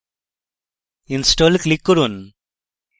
install click করুন